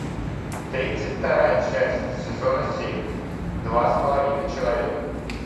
тридцать вторая часть сезона семь два с половиной человека